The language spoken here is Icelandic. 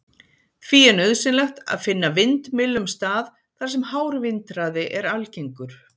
Því er nauðsynlegt að finna vindmyllum stað þar sem hár vindhraði er algengur.